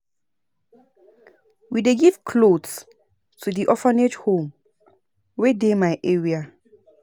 We dey give cloths to di orphage home wey dey my area.